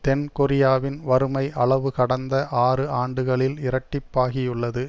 தென் கொரியாவின் வறுமை அளவு கடந்த ஆறு ஆண்டுகளில் இரட்டிப்பாகியுள்ளது